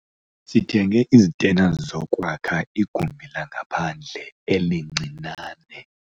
Sithenge izitena zokwakha igumbi langaphandle elincinane.